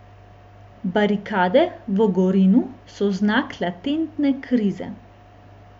Barikade v Gorinu so znak latentne krize.